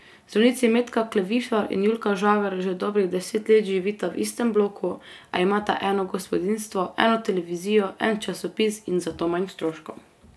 Zdravnici Metka Klevišar in Julka Žagar že dobrih deset let živita v istem bloku, a imata eno gospodinjstvo, eno televizijo, en časopis in zato manj stroškov.